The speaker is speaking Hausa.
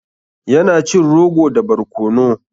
Ya na cin rogo da barkono.